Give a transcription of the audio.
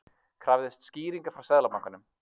Krafðist skýringa frá Seðlabankanum